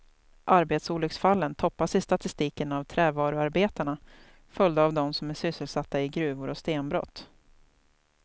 Arbetsolycksfallen toppas i statistiken av trävaruarbetarna följda av dem som är sysselsatta i gruvor och stenbrott.